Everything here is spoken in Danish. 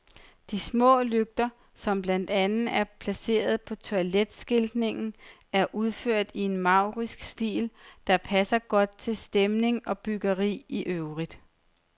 De små lygter, som blandt andet er placeret på toiletskiltningen, er udført i en maurisk stil, der passer godt til stemning og byggeri i øvrigt.